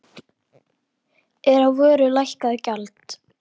Er á vöru lækkað gjald.